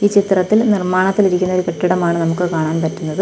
ചിത്രത്തിൽ നിർമ്മാണത്തിലിരിക്കുന്ന ഒരു കെട്ടിടമാണ് നമുക്ക് കാണാൻ പറ്റുന്നത്.